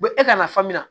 U bɛ e ka nafan min na